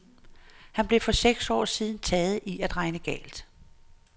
Han blev for seks år siden taget i at regne galt.